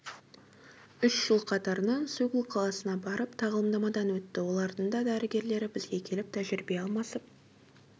үш жыл қатарынан сеул қаласына барып тағылымдамадан өтті олардың да дәрігерлері бізге келіп тәжірибе алмасып